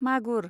मागुर